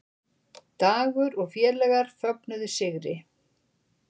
Dagur og félagar fögnuðu sigri